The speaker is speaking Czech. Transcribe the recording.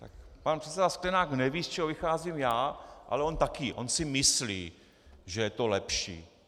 Pan předseda Sklenák neví, z čeho vycházím já, ale on také, on si myslí, že je to lepší.